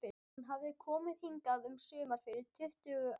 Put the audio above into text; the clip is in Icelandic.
Hún hafði komið hingað um sumar fyrir tuttugu árum.